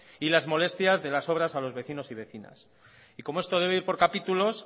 y las molestias de las obras a los vecinos y vecinas y como esto debe ir por capítulos